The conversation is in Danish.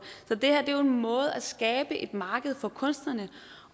så det her er jo en måde at skabe et marked for kunstnerne